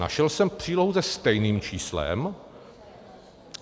Našel jsem přílohu se stejným číslem.